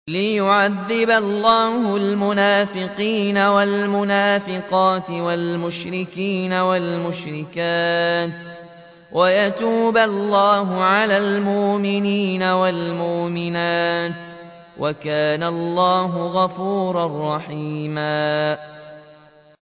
لِّيُعَذِّبَ اللَّهُ الْمُنَافِقِينَ وَالْمُنَافِقَاتِ وَالْمُشْرِكِينَ وَالْمُشْرِكَاتِ وَيَتُوبَ اللَّهُ عَلَى الْمُؤْمِنِينَ وَالْمُؤْمِنَاتِ ۗ وَكَانَ اللَّهُ غَفُورًا رَّحِيمًا